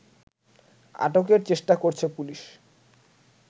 আটকের চেষ্টা করছে পুলিশ